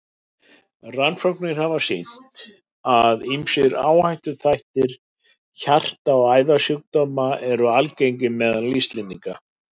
Rannsóknir hafa sýnt, að ýmsir áhættuþættir hjarta- og æðasjúkdóma eru algengir meðal Íslendinga.